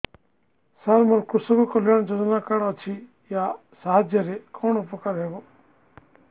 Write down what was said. ସାର ମୋର କୃଷକ କଲ୍ୟାଣ ଯୋଜନା କାର୍ଡ ଅଛି ୟା ସାହାଯ୍ୟ ରେ କଣ ଉପକାର ହେବ